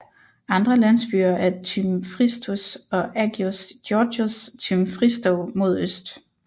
Andre landsbyer er Tymfristos og Agios Georgios Tymfristou mod øst